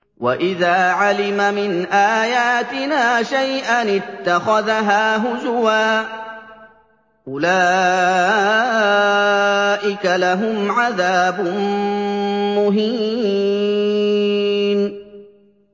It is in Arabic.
وَإِذَا عَلِمَ مِنْ آيَاتِنَا شَيْئًا اتَّخَذَهَا هُزُوًا ۚ أُولَٰئِكَ لَهُمْ عَذَابٌ مُّهِينٌ